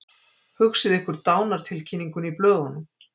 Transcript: Hugsið ykkur dánartilkynninguna í blöðunum.